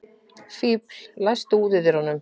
Fífill, læstu útidyrunum.